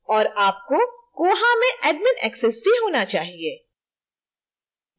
और आपको koha में admin access भी होना चाहिए